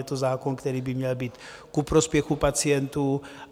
Je to zákon, který by měl být ku prospěchu pacientů.